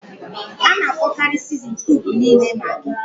A na-akpọkarị sizinin kiubu niile Magị.